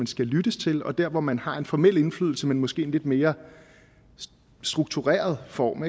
skal lyttes til og der hvor man har en formel indflydelse men måske i en lidt mere struktureret form